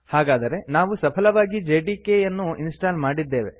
ಹಾಗಾದರೆ ನಾವು ಸಫಲವಾಗಿ ಜೆಡಿಕೆ ಯನ್ನು ಇನ್ಸ್ಟಾಲ್ ಮಾಡಿದ್ದೇವೆ